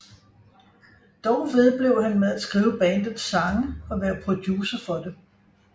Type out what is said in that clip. Dog vedblev han med at skrive bandets sange og være producer for det